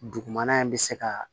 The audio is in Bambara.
Dugumana in bɛ se ka